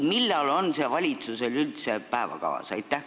Millal on see valitsusel üldse päevakavas?